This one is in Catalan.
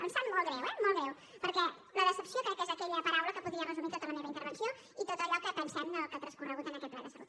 ens sap molt greu eh molt de greu perquè la decepció crec que és aquella paraula que podria resumir tota la meva intervenció i tot allò que pensem del que ha transcorregut en aquest ple de salut